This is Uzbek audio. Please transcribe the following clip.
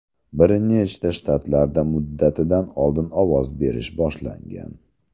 Bir nechta shtatlarda muddatidan oldin ovoz berish boshlangan.